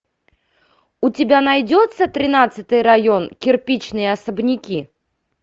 у тебя найдется тринадцатый район кирпичные особняки